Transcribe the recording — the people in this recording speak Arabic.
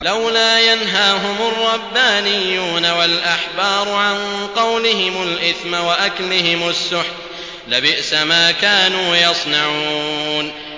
لَوْلَا يَنْهَاهُمُ الرَّبَّانِيُّونَ وَالْأَحْبَارُ عَن قَوْلِهِمُ الْإِثْمَ وَأَكْلِهِمُ السُّحْتَ ۚ لَبِئْسَ مَا كَانُوا يَصْنَعُونَ